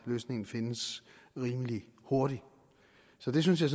løsningen findes rimelig hurtigt så det synes jeg